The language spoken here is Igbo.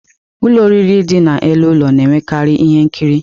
Ụlọ nri ndị dị n'elu ụlọ na-enwekarị ihe nkiri.